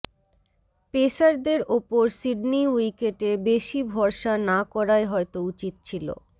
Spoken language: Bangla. পেসারদের ওপর সিডনি উইকেটে বেশি ভরসা না করাই হয়তো উচিত ছিল